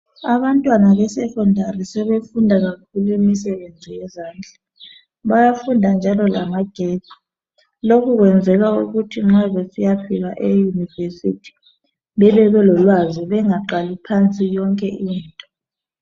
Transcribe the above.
Abantwana besekhondari sebefunda kakhulu imisebenzi yezandla. Bayafunda njalo lamagetsi. Lokhu kwenzelwa ukuthi nxa besiyafika eyunivesithi bebe belolwazi, bengaqali phansi yonke into.